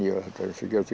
þetta eru